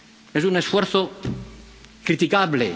Es un esfuerzo criticable.